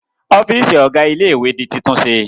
Ọ́fíísì ọ̀gá ilé-ìwé di títúnṣe